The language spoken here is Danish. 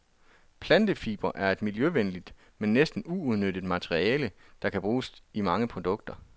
Plantefibre er et miljøvenligt, men næsten uudnyttet materiale, der kan bruges i mange produkter.